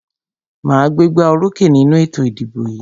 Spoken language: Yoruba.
Màá gbégbá orókè nínú ètò ìdìbò yìí.